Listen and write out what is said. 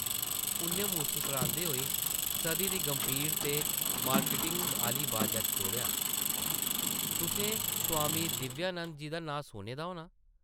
उʼन्नै मुस्करांदे होई सधी दी गंभीर ते मार्किटिङ आह्ली बाजा च जोड़ेआ, तुसें स्वामी दिव्यानंद जी दा नांऽ सुने दा होनां ।